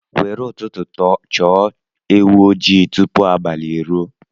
Were ụtụtụ chọọ ewu ojii tupu abalị ruo.